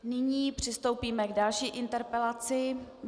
Nyní přistoupíme k další interpelaci.